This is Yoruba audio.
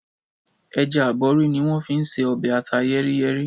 Ẹja aborí ni wọ́n fi n ṣe ọbẹ̀ ata yẹ́rí-yẹ́rí.